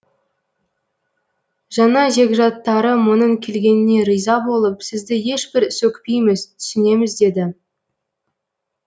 жаңа жекжаттары мұның келгеніне риза болып сізді ешбір сөкпейміз түсінеміз деді